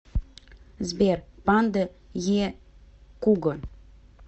сбер панда е куго